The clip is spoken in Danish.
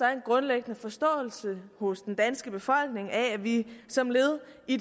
er en grundlæggende forståelse hos den danske befolkning af at vi som led i